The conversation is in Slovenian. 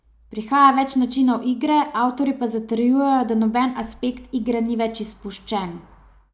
Prihaja več načinov igre, avtorji pa zatrjujejo, da noben aspekt igre ni več izpuščen.